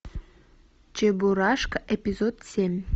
чебурашка эпизод семь